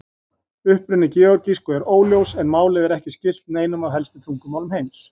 Uppruni georgísku er óljós en málið er ekki skylt neinum af helstu tungumálum heims.